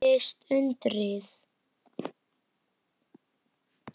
Þá gerðist undrið.